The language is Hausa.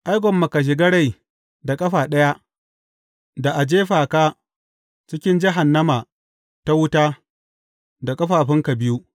Ai, gwamma ka shiga rai da ƙafa ɗaya, da a jefa ka cikin jahannama ta wuta, da ƙafafunka biyu.